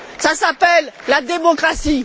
Cela s'appelle la démocratie!